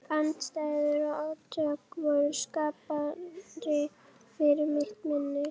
Andstæður og átök voru skarpari fyrir mitt minni.